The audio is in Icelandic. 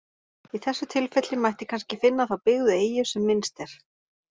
Í þessu tilfelli mætti kannski finna þá byggðu eyju sem minnst er.